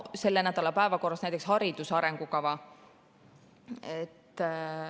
Selle nädala päevakorras on näiteks hariduse arengukava.